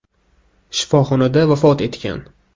shifoxonada vafot etgan.